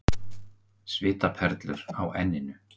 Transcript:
Svitaperlur á enninu.